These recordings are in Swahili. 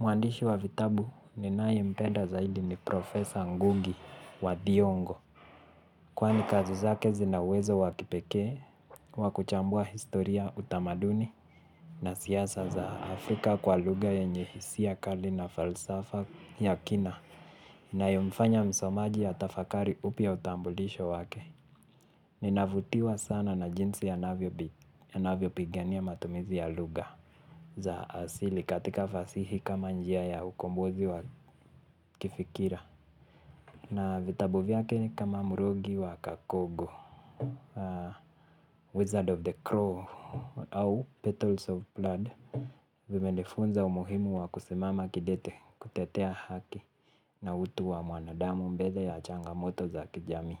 Mwandishi wa vitabu ninaye mpeda zaidi ni professor ngugi wa thiongo. Kwani kazi zake zina uwezo wa kipekee, wakuchambua historia utamaduni na siasa za Afrika kwa lugha yenye hisia kali na falsafa ya kina. Inayomfanya msomaji atafakari upya utambulisho wake. Ninavutiwa sana na jinsi anavyopigania matumizi ya lugha. Za asili katika fasihi kama njia ya ukombozi wa kifikira. Na vitabu vyake ni kama mrogi wa kakogo Wizard of the Crow au Petals of Blood. Vimenifunza umuhimu wa kusimama kidete kutetea haki. Na utu wa mwanadamu mbeze ya changamoto za kijamii.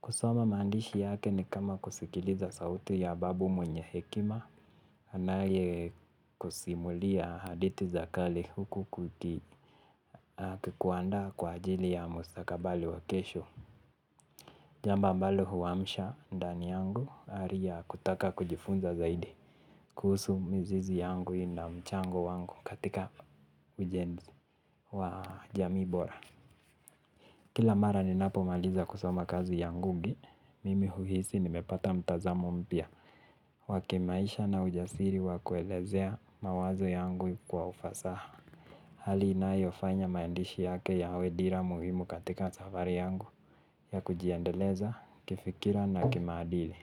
Kusoma mandishi yake ni kama kusikiliza sauti ya babu mwenye hekima anaye kusimulia hadithi za kale huku akikuandaa kwa ajili ya mustakabali wa kesho. Jambo ambalo huamsha ndani yangu ari ya kutaka kujifunza zaidi kuhusu mizizi yangu na mchango wangu katika ujenzi wa jamii bora. Kila mara ninapomaliza kusoma kazi ya Ngugi Mimi huhisi nimepata mtazamo mpya wakimaisha na ujasiri wa kuelezea mawazo yangu kwa ufasaha. Hali inayofanya maandishi yake yawe dira muhimu katika safari yangu ya kujiendeleza, kifikira na kimaadili.